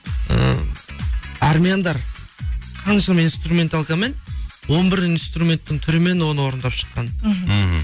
ы армияндар қаншама инструменталкамен он бір инструменттің түрімен оны орындап шыққан мхм мхм